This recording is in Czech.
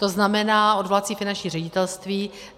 To znamená odvolací finanční ředitelství.